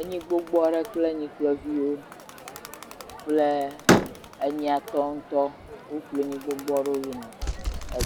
Enyi gbogbo aɖe kple nyikplɔviwo kple enyiatɔ ŋutɔ, wokplɔ nyi gbogbo aɖewo yina